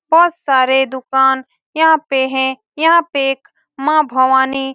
बहुत सारे दुकान यहाँ पे है यहाँ पे एक माँ भवानी --